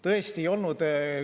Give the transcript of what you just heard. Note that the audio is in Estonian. Tõesti ei olnud.